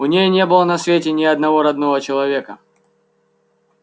у ней не было на свете ни одного родного человека